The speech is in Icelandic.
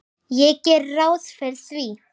Ég geri ráð fyrir því.